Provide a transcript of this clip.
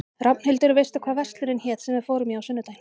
Rafnhildur, manstu hvað verslunin hét sem við fórum í á sunnudaginn?